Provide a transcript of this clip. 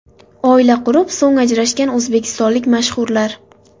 Oila qurib, so‘ng ajrashgan o‘zbekistonlik mashhurlar .